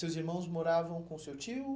Seus irmãos moravam com o seu tio?